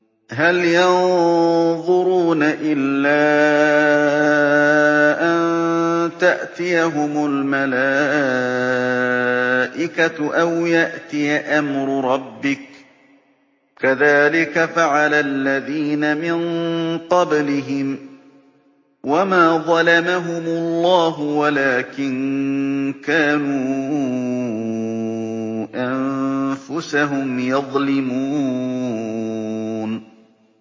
هَلْ يَنظُرُونَ إِلَّا أَن تَأْتِيَهُمُ الْمَلَائِكَةُ أَوْ يَأْتِيَ أَمْرُ رَبِّكَ ۚ كَذَٰلِكَ فَعَلَ الَّذِينَ مِن قَبْلِهِمْ ۚ وَمَا ظَلَمَهُمُ اللَّهُ وَلَٰكِن كَانُوا أَنفُسَهُمْ يَظْلِمُونَ